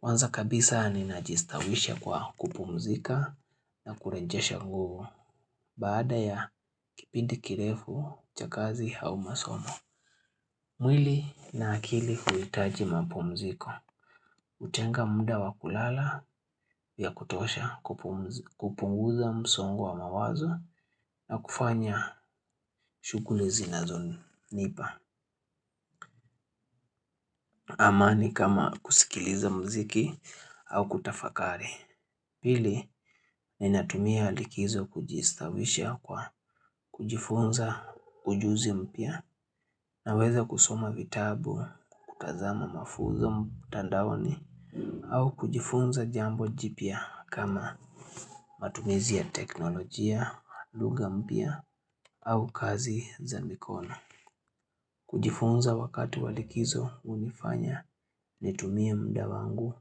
Kwanza kabisa ninajistawisha kwa kupumzika na kurejesha nguvu. Baada ya kipindi kirefu, cha kazi au masomo. Mwili na akili huhitaji mapumziko. Hutenga muda wa kulala ya kutosha kupunguza msongo wa mawazo na kufanya shughuli zinazonipa. Amani kama kusikiliza muziki au kutafakari. Pili, ninatumia likizo kujistawisha kwa kujifunza ujuzi mpya. Naweza kusoma vitabu kutazama mafunzo mtandaoni au kujifunza jambo jipya kama matumizi ya teknolojia, lugha mpya au kazi za mikono. Kujifunza wakati wa likizo hunifanya nitumie muda wangu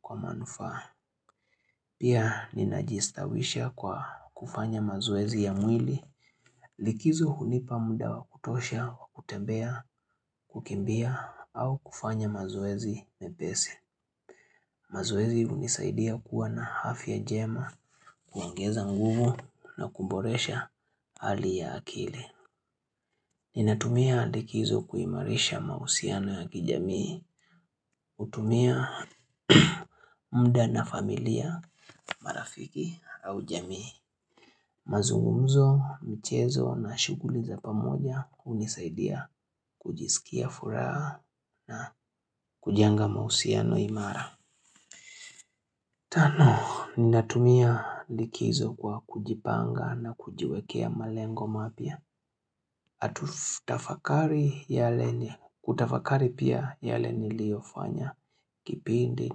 kwa manufaa. Pia ninajistawisha kwa kufanya mazoezi ya mwili. Likizo hunipa muda wa kutosha, wa kutembea, kukimbia au kufanya mazoezi mepesi. Mazoezi hunisaidia kuwa na afya njema kuongeza nguvu na kuboresha hali ya akili Ninatumia likizo kuimarisha mahusiano ya kijamii hutumia muda na familia, marafiki au jamii mazungumzo, michezo na shughuli za pamoja hunisaidia kujisikia furaha na kujenga mahusiano imara Tano, ninatumia likizo kwa kujipanga na kujiwekea malengo mapya. Na kutafakari yale ni, kutafakari pia yale niliyofanya. Kipindi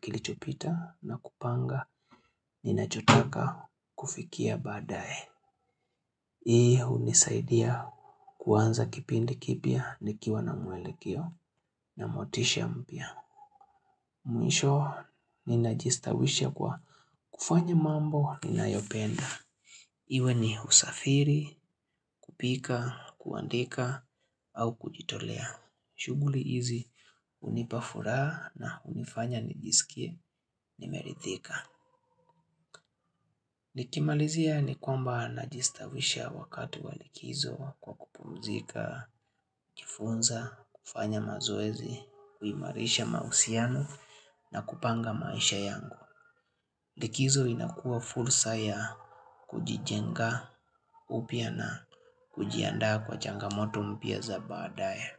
kilichopita na kupanga ninachotaka kufikia baadaye. Hii hunisaidia kuanza kipindi kipya, nikiwa na mwelekeo na motisha mpya. Mwisho ninajistawisha kwa kufanya mambo ninayopenda. Iwe ni usafiri, kupika, kuandika au kujitolea. Shughuli hizi hunipa furaha hunifanya nijisikie nimeridhika. Nikimalizia ni kwamba najistawisha wakati wa likizo kwa kupumzika, kujifunza, kufanya mazoezi, kuimarisha mahusiano na kupanga maisha yangu. Likizo inakua fursa ya kujijenga upya na kujiandaa kwa changamoto mpya za baadae.